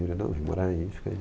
Ele, não, vem morar aí, fica aí.